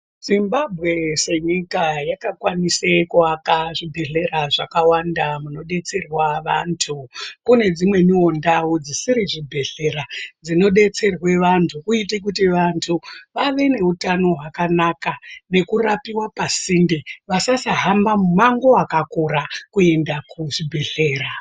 Zimbabwe se nyika yaka kwanise kuaka zvi bhedhlera zvakawanda muno detserwa vantu kune dzimwewo ndau dzisiri zvi bhedhlera dzino detserwe vantu kuitire kuti vantu vave ne utano hwaka naka neku rapiwa pa sinde vasasa hamba mu mango wakakura kuenda ku zvibhedhlera .